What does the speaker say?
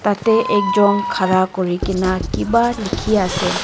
tatae ekjon khara kurikaena kiba likhiase.